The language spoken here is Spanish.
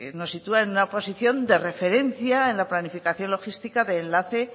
nos sitúa en una posición de referencia en la planificación logística de enlace